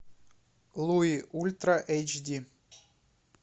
луи ультра эйч ди